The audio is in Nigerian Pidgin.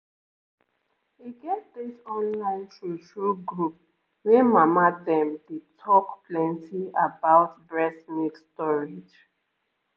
e get this online true-true group wey mama dem dey talk plenty about breast milk storage